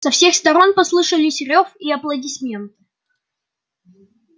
со всех сторон послышались рёв и аплодисменты